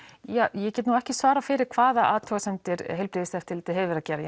ja ég get nú ekki svarað fyrir hvaða athugasemdir heilbrigðiseftirlitið hefur verið að gera